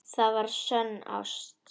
Það var sönn ást.